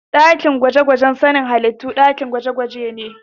Ɗakin gwaje-gwajen sanin halittu dakin da ake gudanar da nazarin halittu, nazari da gwaje-gwaje